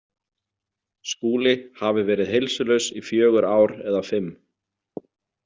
Skúli hafi verið heilsulaus í fjögur ár eða fimm.